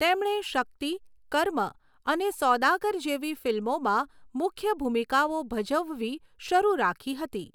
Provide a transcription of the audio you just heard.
તેમણે 'શક્તિ', 'કર્મ' અને 'સૌદાગર' જેવી ફિલ્મોમાં મુખ્ય ભૂમિકાઓ ભજવવી શરૂ રાખી હતી.